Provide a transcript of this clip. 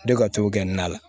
Ne ka t'o kɛ n nala